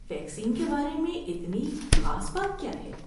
Vaccine کے بارے میں اتنی خاص بات کیا ہے؟